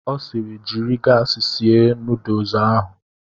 Ọ siiri, jiri gaasi sie nuduls ahụ!